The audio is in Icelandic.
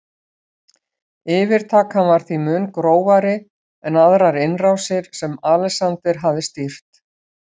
Yfirtakan var því mun grófari en aðrar innrásir sem Alexander hafði stýrt.